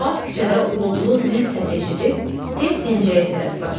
Fuad küçədə uğultulu zil səs eşidib, tez pəncərəyə tərəf qaçdı.